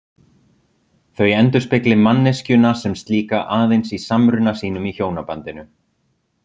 Þau endurspegli manneskjuna sem slíka aðeins í samruna sínum í hjónabandinu.